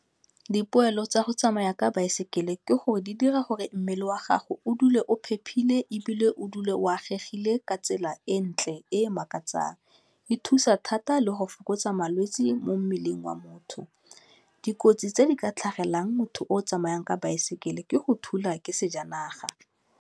Dipoelo tsa go tsamaya ka baesekele ke gore di dira gore mmele wa gago o dule o phephile ebile o dule o agegilen ka tsela e ntle e makatsang, e thusa thata le go fokotsa malwetsi mo mmeleng wa motho, dikotsi tse di ka tlhagelelang motho o tsamayang ka baesekele ke go thula ke sejanaga.